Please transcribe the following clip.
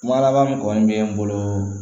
Kuma laban min kɔni bɛ n bolo